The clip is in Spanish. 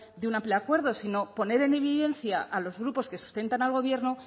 de un amplio acuerdo sino poner en evidencia a los grupos que sustentan al gobierno